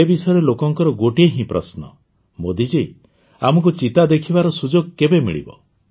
ଏ ବିଷୟରେ ଲୋକଙ୍କର ଗୋଟିଏ ହିଁ ପ୍ରଶ୍ନ ମୋଦିଜୀ ଆମକୁ ଚିତା ଦେଖିବାର ସୁଯୋଗ କେବେ ମିଳିବ